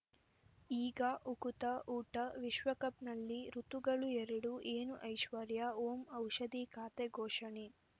ಈಗ ಉಕುತ ಊಟ ವಿಶ್ವಕಪ್‌ನಲ್ಲಿ ಋತುಗಳು ಎರಡು ಏನು ಐಶ್ವರ್ಯಾ ಓಂ ಔಷಧಿ ಖಾತೆ ಘೋಷಣೆ